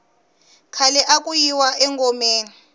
khale aku yiwa engomeni